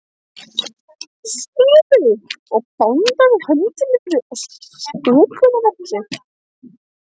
Sölvi og bandaði hendinni yfir sköpunarverk sitt.